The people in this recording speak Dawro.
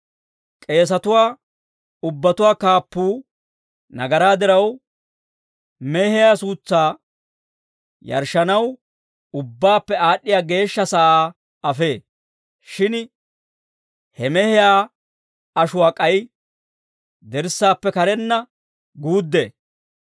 K'eesatuwaa ubbatuwaa kaappuu nagaraa diraw, mehiyaa suutsaa yarshshanaw Ubbaappe Aad'd'iyaa Geeshsha sa'aa afee; shin he mehiyaa ashuwaa k'ay dirssaappe karenna guuddee.